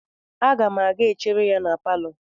Aga m a ga-chere gi na palọ.